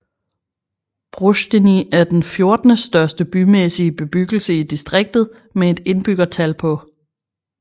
Broșteni er den fjortende største bymæssige bebyggelse i distriktet med et indbyggertal på